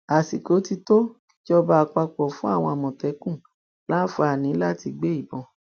àsìkò ti tó kíjọba àpapọ fún àwọn àmọtẹkùn láǹfààní láti gbé ìbọn